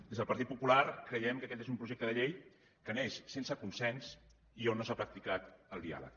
des del partit popular creiem que aquest és un projecte de llei que neix sense consens i a on no s’ha practicat el diàleg